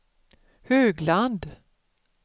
Högland